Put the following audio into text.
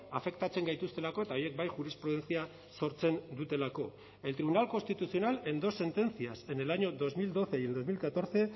afektatzen gaituztelako eta horiek bai jurisprudentzia sortzen dutelako el tribunal constitucional en dos sentencias en el año dos mil doce y el dos mil catorce